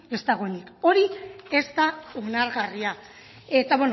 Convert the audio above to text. ez dagoenik hori ez da onargarria eta